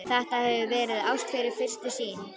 Þetta hefur verið ást við fyrstu sýn.